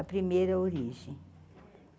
A primeira origem.